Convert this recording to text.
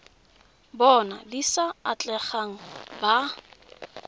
bona di sa atlegang ba